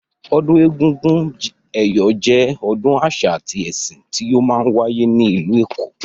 Ọdún egúngún ẹ̀yọ̀ jẹ́ ọdún àṣà àti ẹsìn tí ó máa ń wáyé ní ìlú èkó.